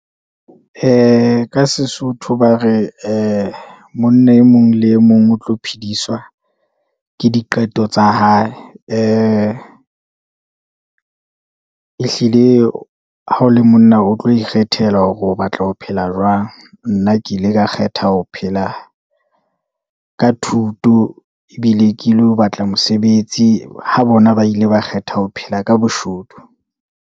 Ka sesotho ba re ee monna e mong le e mong o tlo phediswa ke diqeto tsa hae, ee ehlile ha o le monna o tlo ikgethela hore o batla ho phela jwang. Nna ke ile ka kgetha ho phela ka thuto, ebile ke lo batla mosebetsi, ha bonaa bile ba kgetha ho phela ka boshodu.